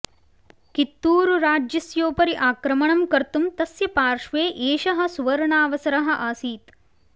कित्तूरुराज्यस्योपरि आक्रमणं कर्तुं तस्य पार्श्वे एषः सुवर्णावसरः आसीत्